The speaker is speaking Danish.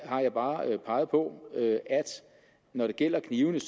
jeg bare peget på at når det gælder knivene